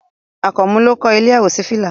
Àkànmú ló kọ́ ilé àwòṣífìlà